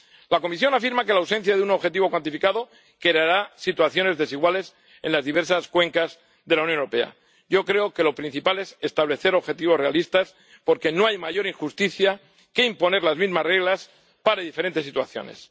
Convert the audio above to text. La Comisión afirma que la ausencia de un objetivo cuantificado creará situaciones desiguales en las diversas cuencas de la Unión Europea. Yo creo que lo principal es establecer objetivos realistas porque no hay mayor injusticia que imponer las mismas reglas para diferentes situaciones.